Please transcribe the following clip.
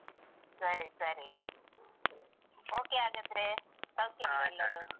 ಸರಿ ಸರಿ . okay ಹಾಗಾದ್ರೆ. ಸೌಖ್ಯಾಲಾ ಎಲ್ಲರೂ?